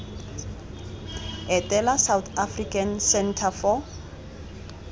etela south african centre for